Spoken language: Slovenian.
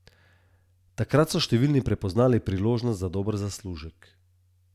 Če delaš nekaj, kar te veseli, ti ni težko delati.